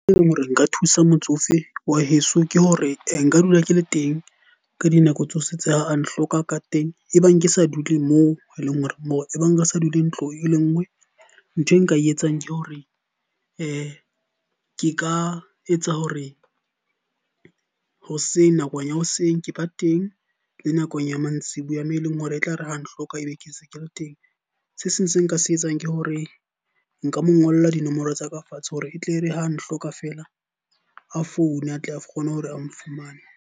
E leng hore nka thusa motsofe wa heso, ke hore nka dula ke le teng ka dinako tsohle tsa ha a nhlokang ka teng. E bang ke sa dule moo e leng hore re sa dule ntlong e le nngwe. Nthwe nka etsang ke hore ke ka etsa hore hoseng, nakong ya hoseng ke ba teng le nakong ya mantsibuya moo e leng hore e tlare ha nhloka ebe ke ntse ke le teng. Se seng se nka se etsang ke hore nka mo ngolla dinomoro tsa ka fatshe hore e tle re ha nhloka feela, a foune a tle a kgone hore a nfumane.